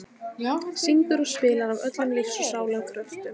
Syngur og spilar af öllum lífs og sálar kröftum.